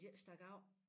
De ikke stak af